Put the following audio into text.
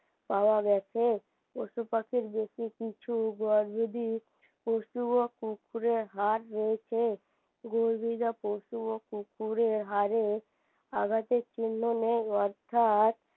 পাওয়া গেছে পশুপাখির ভিত্রে কিছু পশু ও কুকুরের হাড় রয়েছে পশু ও কুকুরের হাড়ে আঘাতের চিহ্ন নেই অর্থাৎ